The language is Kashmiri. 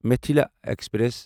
مِتھلا ایکسپریس